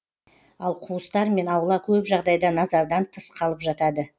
ал қуыстар мен аула көп жағдайда назардан тыс қалып жатады